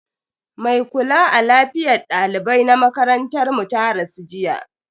Mai kula a lafiyar dalibai na makarantar mu ta rasu jiya.